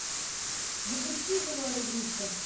запусти живая игрушка